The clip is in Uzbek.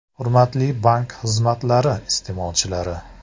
Hurmatli bank xizmatlari iste’molchilari!